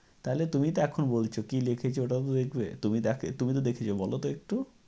তাহলে তুমি এটা এখন বলছ কী লিখেছ ওটাও তো দেখবে। তুমি তো দেখেছ বলত একটু।